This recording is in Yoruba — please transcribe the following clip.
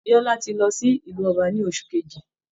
Bíọ́lá ti lọ sí ilú ọba ní ọsù kejì